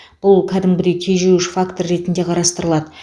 бұл кәдімгідей тежеуіш фактор ретінде қарастырылады